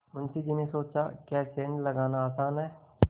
मुंशी जी ने सोचाक्या सेंध लगाना आसान है